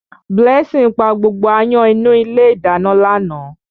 Blessing pa gbogbo áyán inú ilé ìdáná lánàá.